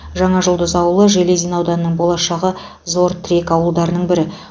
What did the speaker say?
жаңажұлдыз ауылы железин ауданының болашағы зор тірек ауылдарының бірі